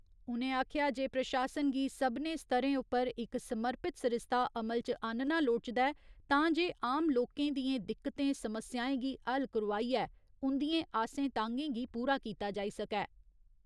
उ'नें आखेआ जे प्रशासन गी सभनें स्तरें उप्पर इक समर्पित सरिस्ता अमल च आह्‌नना लोड़चदा ऐ तांजे आम लोकें दियें दिक्कतें समस्याएं गी हल करोआइयै उंदियें आसें तांह्‌गें गी पूरा कीता जाई सकै।